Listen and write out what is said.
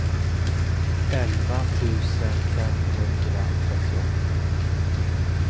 elva tusen femhundratrettioåtta